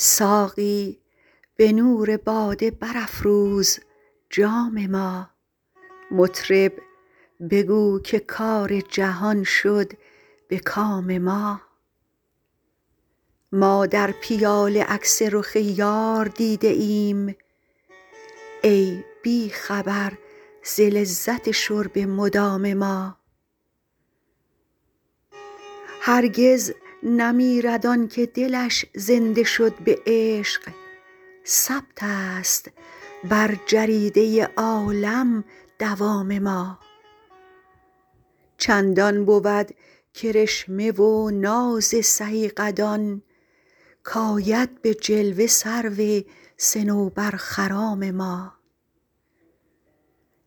ساقی به نور باده برافروز جام ما مطرب بگو که کار جهان شد به کام ما ما در پیاله عکس رخ یار دیده ایم ای بی خبر ز لذت شرب مدام ما هرگز نمیرد آن که دلش زنده شد به عشق ثبت است بر جریده عالم دوام ما چندان بود کرشمه و ناز سهی قدان کآید به جلوه سرو صنوبرخرام ما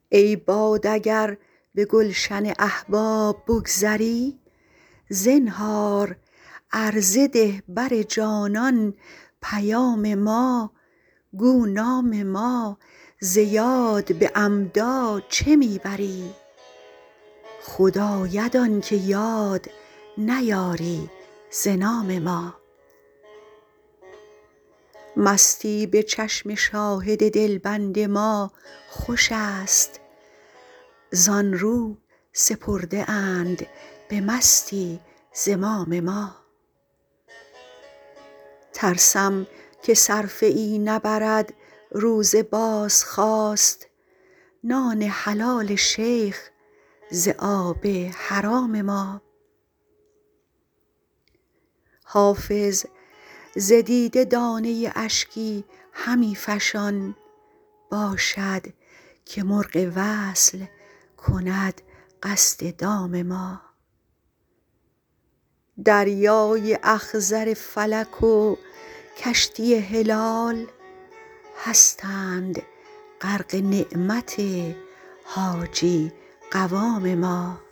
ای باد اگر به گلشن احباب بگذری زنهار عرضه ده بر جانان پیام ما گو نام ما ز یاد به عمدا چه می بری خود آید آن که یاد نیاری ز نام ما مستی به چشم شاهد دلبند ما خوش است زآن رو سپرده اند به مستی زمام ما ترسم که صرفه ای نبرد روز بازخواست نان حلال شیخ ز آب حرام ما حافظ ز دیده دانه اشکی همی فشان باشد که مرغ وصل کند قصد دام ما دریای اخضر فلک و کشتی هلال هستند غرق نعمت حاجی قوام ما